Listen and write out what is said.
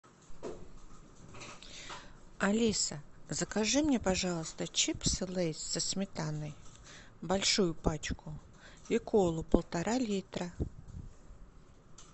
алиса закажи мне пожалуйста чипсы лейс со сметаной большую пачку и колу полтора литра